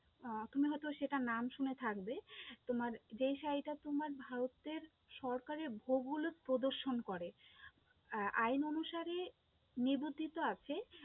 আহ তুমি হয়তো সেটা নাম শুনে থাকবে, তোমার যেই শাড়িটা তোমার ভারতের সরকারের বহুল প্রদর্শন করে আহ আইন অনুসারে নিবদ্ধিত আছে,